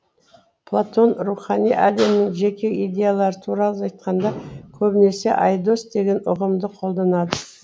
платон рухани әлемнің жеке идеялары туралы айтқанда көбінесе айдос деген ұғымды қолданады